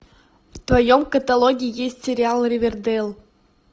в твоем каталоге есть сериал ривердейл